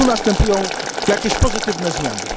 Czy tu następują jakieś pozytywne zmiany?